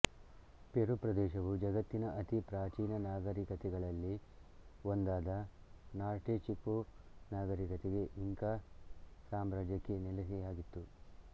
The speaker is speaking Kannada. ಪೆರು ಪ್ರದೇಶವು ಜಗತ್ತಿನ ಅತಿ ಪ್ರಾಚೀನ ನಾಗರಿಕತೆಗಳಲ್ಲಿ ಒಂದಾದ ನಾರ್ಟೆಚಿಕೋ ನಾಗರಿಕತೆಗೆ ಇಂಕಾ ಸಾಮ್ರಾಜ್ಯಕ್ಕೆ ನೆಲೆಯಾಗಿತ್ತು